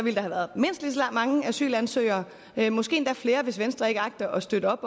mange asylansøgere måske endda flere hvis venstre ikke agter at støtte op